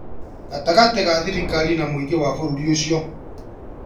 Gatagatĩ ga thirikari na mũingĩ wa bũrũri ũcio